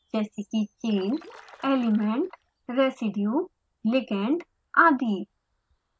जैसे कि chain element residue ligand आदि